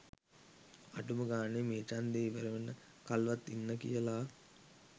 අඩුම ගාණේ මේ ඡන්දෙ ඉවර වෙනකල්වත් ඉන්න කියලා